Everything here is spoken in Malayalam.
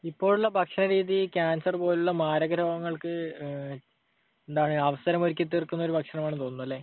ഇപ്പോഴുള്ള ഭക്ഷണരീതി കാൻസർ പോലുള്ള മാരക രോഗങ്ങൾക്ക് എന്താണ്, അവസരമൊരുക്കിത്തീർക്കുന്ന ഒരു ഭക്ഷണമാണെന്നു തോന്നുന്നു. അല്ലെ?